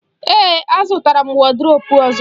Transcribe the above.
Ee, azụtara m wọdrobu ọzọ.